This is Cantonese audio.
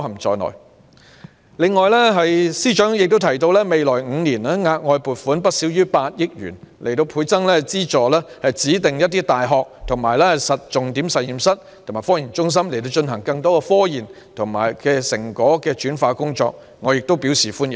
此外，司長亦提到未來5年額外撥款不少於8億元，資助指定大學及重點實驗室及科研中心，進行更多科研成果轉化工作，我亦對此表示歡迎。